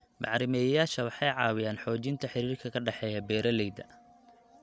Bacrimiyeyaasha waxay caawiyaan xoojinta xiriirka ka dhexeeya beeralayda.